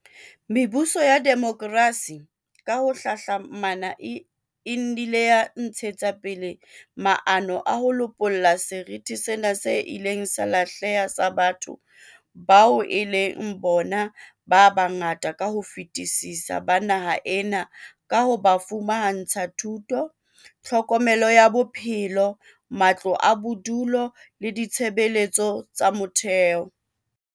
Mebuso ya demokrasi ka ho hlahlamana e nnile ya ntshetsa pele maano a ho lopolla seriti sena se ileng sa lahleha sa batho bao e leng bona ba bangata ka ho fetisisa ba naha ena ka ho ba fumantsha thuto, tlhokomelo ya bophelo, matlo a bodulo le ditshebeletso tsa motheo.